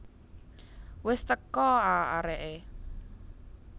Wis teko a areke